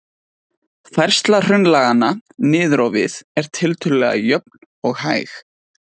Færsla hraunlaganna niður á við er tiltölulega jöfn og hæg.